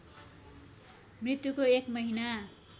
मृत्युको एक महिना